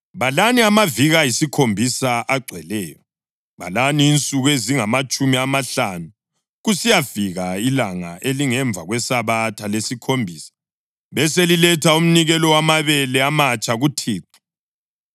Balani insuku ezingamatshumi amahlanu kusiyafika ilanga elingemva kweSabatha lesikhombisa, beseliletha umnikelo wamabele amatsha kuThixo.